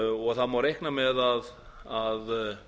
og það má reikna með að